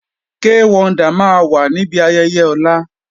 Kay Wonder máa wà níbi ayẹyẹ ọ̀la